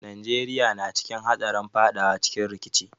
Najeriya na cikin hatsarin fadawa cikin rikici.